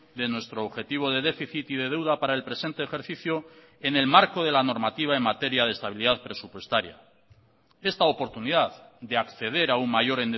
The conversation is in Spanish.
de nuestro objetivo de déficit y de deuda para el presente ejercicio en el marco de la normativa en materia de estabilidad presupuestaria esta oportunidad de acceder a un mayor